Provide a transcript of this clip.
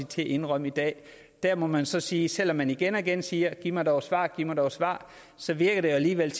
til at indrømme i dag der må man så sige at selv om man igen og igen siger giv mig dog et svar giv mig dog et svar så virker det jo alligevel